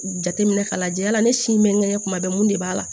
Jateminɛ ka lajɛ la ne si bɛ n gɛnnen kuma bɛɛ mun de b'a la